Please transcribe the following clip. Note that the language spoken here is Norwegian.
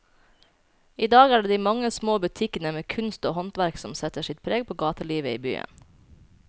I dag er det de mange små butikkene med kunst og håndverk som setter sitt preg på gatelivet i byen.